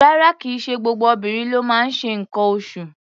Rárá, kì í ṣe gbogbo obìnrin ló máa ń ṣe nǹkan oṣụ̀.